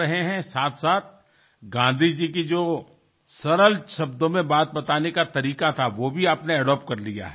এর সঙ্গে গান্ধীজীর সরল ভাষায় কথা বলার ধরনটাও আপনি রপ্ত করে ফেলেছেন